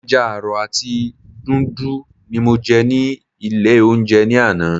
Ẹja àrọ̀ àti dùndú ni mo jẹ ní ilé oúnjẹ ní àná.